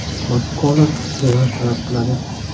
MakKonnor revansh talab qiladi.